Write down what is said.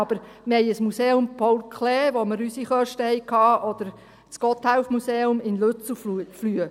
Aber wir haben ein Museum Paul Klee, bei dem wir unsere Kosten hatten, oder das Gotthelf-Museum in Lützelflüh.